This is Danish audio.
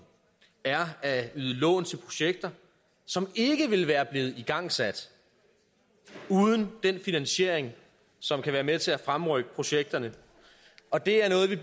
er at yde lån til projekter som ikke ville være blevet igangsat uden den finansiering som kan være med til at fremrykke projekterne og det er noget vi i